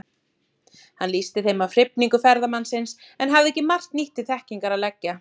Hann lýsti þeim af hrifningu ferðamannsins, en hafði ekki margt nýtt til þekkingar að leggja.